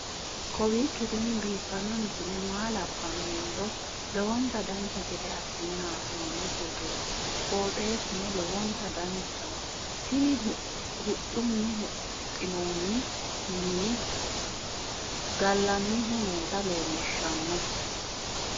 kowiicho tini biiffanno misile maa labbanno yiniro lowonta dancha gede assine haa'noonni foototi qoxeessuno lowonta danachaho. tini huxxunni huxxinoonni mini fgallannihu noota leelishshanno